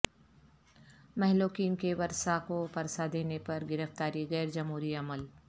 مہلوکین کے ورثاء کو پرسہ دینے پر گرفتاری غیر جمہوری عمل